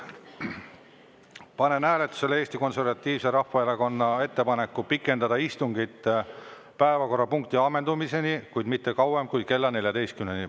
Panen hääletusele Eesti Konservatiivse Rahvaerakonna ettepaneku pikendada istungit päevakorrapunkti ammendumiseni, kuid mitte kauem kui kella 14-ni.